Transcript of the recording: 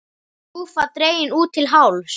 Skúffa dregin út til hálfs.